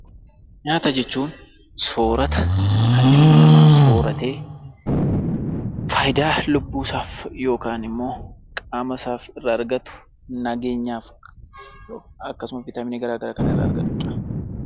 Nyaata jechuun soorata kan ilmi namaa tokko sooratee faayidaa lubbuu isaaf yookiin immoo qaama isaaf argatu nageenyaaf akkasumas Viitaaminii garaa garaa kan irraa argatuudha.